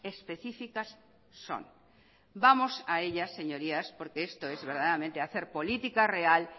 específicas son vamos a ellas señoría porque esto es verdaderamente hacer política real